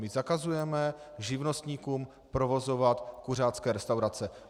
My zakazujeme živnostníkům provozovat kuřácké restaurace.